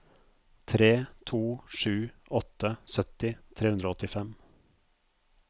tre to sju åtte sytti tre hundre og åttifem